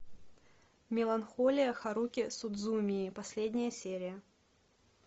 меланхолия харухи судзумии последняя серия